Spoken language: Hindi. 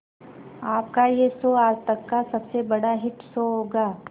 आपका यह शो आज तक का सबसे बड़ा हिट शो होगा